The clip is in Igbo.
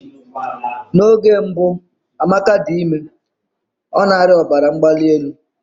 N'oge mbụ Amaka dị ime, ọ na-arịa ọbara mgbali elu.